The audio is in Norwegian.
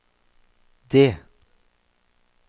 det